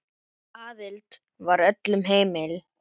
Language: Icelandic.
Aðild var öllum heimil.